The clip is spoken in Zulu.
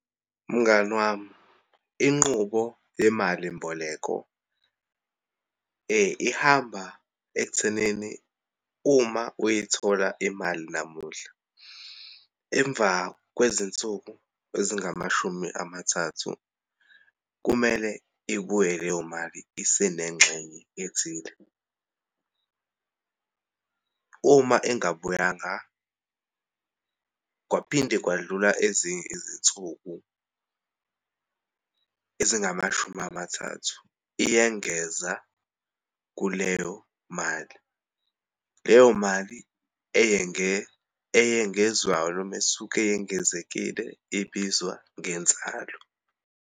Mngani wami, inqubo yemalimboleko ihamba ekuthenini uma uyithola imali namuhla, emva kwezinsuku ezingamashumi amathathu, kumele ibuye leyo mali isenengxenye ethile. Uma ingabuyanga, kwaphinde kwadlula ezinye izinsuku ezingamashumi amathathu, iyengeza kuleyo mali. Leyo mali eyengezwayo, noma esuke yengezekile, ibizwa ngenzalo.